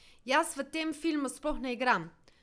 Jaz v tem filmu sploh ne igram.